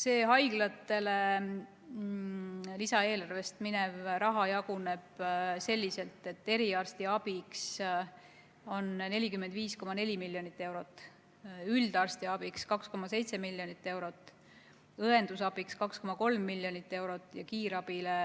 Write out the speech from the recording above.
See haiglatele lisaeelarvest minev raha jaguneb selliselt, et eriarstiabiks on 45,4 miljonit eurot, üldarstiabiks 2,7 miljonit eurot, õendusabiks 2,3 miljonit eurot ja kiirabile,